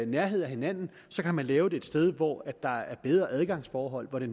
nærhed af hinanden og så kan man lave det et sted hvor der er bedre adgangsforhold hvor det